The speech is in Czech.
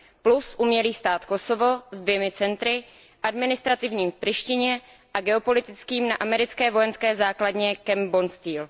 Plus umělý stát Kosovo se dvěma centry administrativním v Prištině a geopolitickým na americké vojenské základně Camp Bondsteel.